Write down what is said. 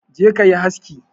Je kayi haski